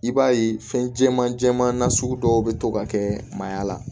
I b'a ye fɛn jɛman jɛman na sugu dɔw bɛ to ka kɛ mayya la